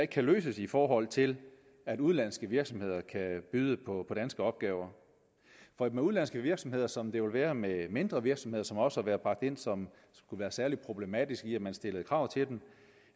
kan løses i forhold til at udenlandske virksomheder kan byde på danske opgaver for med udenlandske virksomheder som det vil være med mindre virksomheder som også har været bragt ind som værende særlig problematiske når man stillede krav til dem